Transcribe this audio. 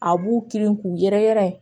A b'u kirin k'u yɛrɛ yɛrɛ